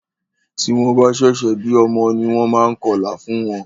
Tí wọ́n bá ṣẹ̀ṣẹ̀ bí ọmọ ní wọ́n máa ń kọlà fún wọ́n.